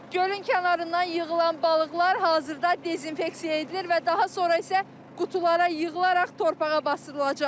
Gölün kənarından yığılan balıqlar hazırda dezinfeksiya edilir və daha sonra isə qutulara yığılaraq torpağa basdırılacaq.